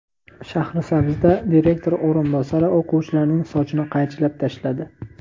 Shahrisabzda direktor o‘rinbosari o‘quvchilarning sochini qaychilab tashladi.